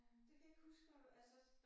Øh det kan jeg ikke huske for altså